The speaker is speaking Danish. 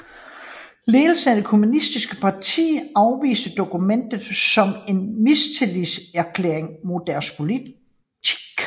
Ledelsen af det kommunistiske parti afviste dokumentet som en mistillidserklæring mod deres politik